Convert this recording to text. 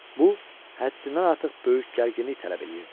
Bu, həddindən artıq böyük gərginlik tələb edirdi.